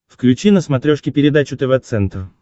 включи на смотрешке передачу тв центр